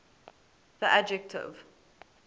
the adjective